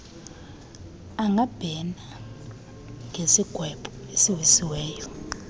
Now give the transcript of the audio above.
angabhena ngesigwebo esiwiswe